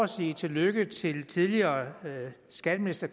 sige tillykke til tidligere skatteminister